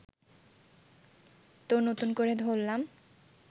তো নতুন করে ধরলাম